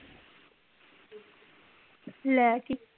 ਲੈ ਕੀ